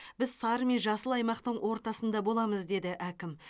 біз сары мен жасыл аймақтың ортасында боламыз деді әкім